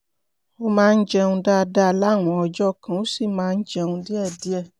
ó máa ń jẹun dáadáa láwọn ọjọ́ kan ó sì máa ń jẹun díẹ̀díẹ̀